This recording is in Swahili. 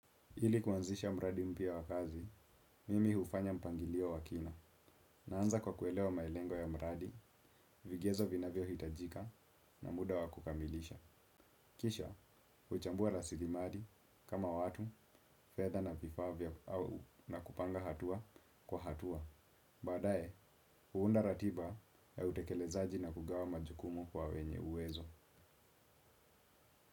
Ili kuanzisha mradi mpya wa kazi, mimi hufanya mpangilio wa kina. Naanza kwa kuelewa malengo ya mradi, vigezo vinavyohitajika na muda wa kukamilisha. Kisha, huchambua rasilimali kama watu, fedha na vifaa vya na kupanga hatua kwa hatua. Baadae, huunda ratiba ya utekelezaji na kugawa majukumu kwa wenye uwezo.